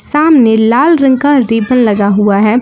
सामने लाल रंग का रिबन लगा हुआ है।